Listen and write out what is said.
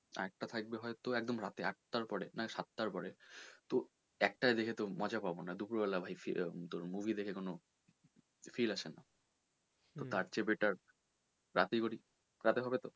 আরেকটা থাকবে হয়তো একদম আটটার পরে নয় সাতটার পরে তো একটায় দেখে তো মজা পাবো না দুপুর বেলা তোর ভাই movie দেখে কোনো feel আসে না তো তার চেয়ে better রাতেই করি রাতে হবে তো?